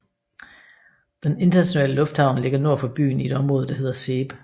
Den internationale lufthavn ligger nord for byen i et område der hedder Seeb